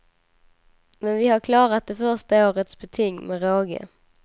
Men vi har klarat det första årets beting med råge.